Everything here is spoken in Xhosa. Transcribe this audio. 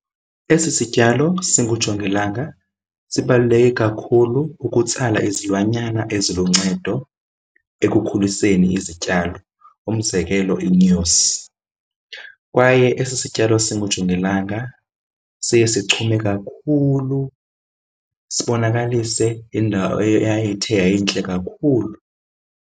Esi sityalo singujongilanga sibaluleke kakhulu ukutsala izilwanyana eziluncedo ekukhuliseni izityalo, umzekelo iinyosi. Kwaye esi sityalo singujongilanga siye sichume kakhulu sibonakalise indawo eyayithe yayintle kakhulu.